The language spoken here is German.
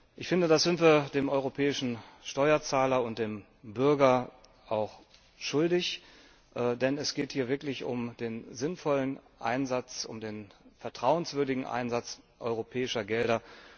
Ich finde, das sind wir dem europäischen Steuerzahler und dem Bürger schuldig, denn es geht hier wirklich um den sinnvollen Einsatz, um den vertrauenswürdigen Einsatz europäischer Gelder.